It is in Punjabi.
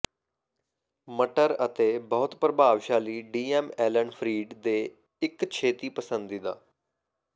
ਮਟਰ ਅਤੇ ਬਹੁਤ ਪ੍ਰਭਾਵਸ਼ਾਲੀ ਡੀ ਐੱਮ ਐਲਨ ਫਰੀਡ ਦੇ ਇੱਕ ਛੇਤੀ ਪਸੰਦੀਦਾ